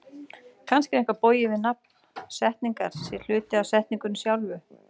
Kannski er eitthvað bogið við að nafn setningar sé hluti af setningunni sjálfri?